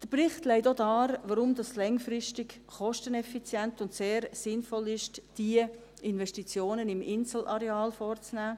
Der Bericht legt auch dar, weshalb es langfristig kosteneffizient und sehr sinnvoll ist, diese Investitionen im Inselareal vorzunehmen;